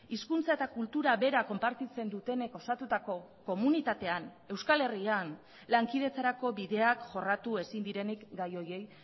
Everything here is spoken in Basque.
hizkuntza eta kultura bera konpartitzen dutenek osatutako komunitatean euskal herrian lankidetzarako bideak jorratu ezin direnik gai horiei